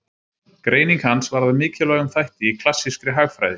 Greining hans varð að mikilvægum þætti í klassískri hagfræði.